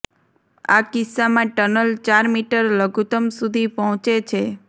આ કિસ્સામાં ટનલ ચાર મીટર લઘુત્તમ સુધી પહોંચે છે